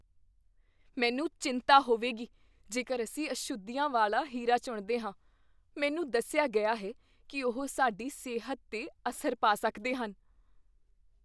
ਮੈਨੂੰ ਚਿੰਤਾ ਹੋਵੇਗੀ ਜੇਕਰ ਅਸੀਂ ਅਸ਼ੁੱਧੀਆਂ ਵਾਲਾ ਹੀਰਾ ਚੁਣਦੇ ਹਾਂ। ਮੈਨੂੰ ਦੱਸਿਆ ਗਿਆ ਹੈ ਕੀ ਉਹ ਸਾਡੀ ਸਿਹਤ 'ਤੇ ਅਸਰ ਪਾ ਸਕਦੇ ਹਨ।